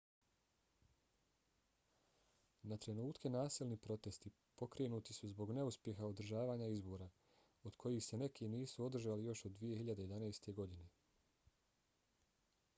na trenutke nasilni protesti pokrenuti su zbog neuspjeha održavanja izbora od kojih se neki nisu održali još od 2011. godine